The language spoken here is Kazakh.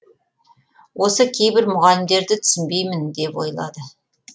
осы кейбір мұғалімдерді түсінбеймін деп ойлады